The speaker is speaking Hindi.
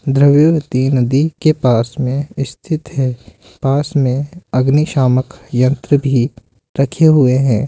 द्रव्यवती नदी के पास मे स्थित है पास मे अग्नि शामक यंत्र भी रखे हुए है।